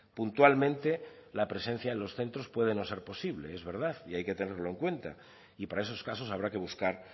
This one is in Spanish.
puntualmente la presencia en los centros puede no ser posible es verdad y hay que tenerlo en cuenta y para esos casos habrá que buscar